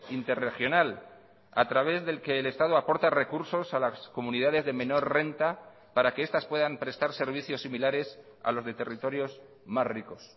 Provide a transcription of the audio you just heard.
interregional a través del que el estado aporta recursos a las comunidades de menor renta para que estas puedan prestar servicios similares a los de territorios más ricos